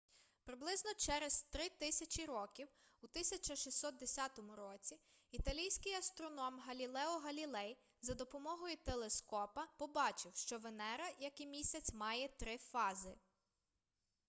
приблизно через три тисячі років у 1610 році італійський астроном галілео галілей за допомогою телескопа побачив що венера як і місяць має три фази